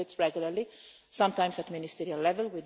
We do it regularly, sometimes at ministerial level.